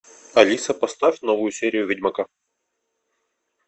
алиса поставь новую серию ведьмака